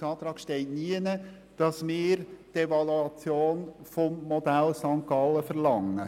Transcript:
Es steht nirgends im Antrag, dass wir die Evaluation des Modells von St. Gallen verlangen.